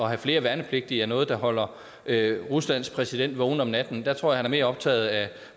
have flere værnepligtige er noget der holder ruslands præsident vågen om natten jeg tror han er mere optaget af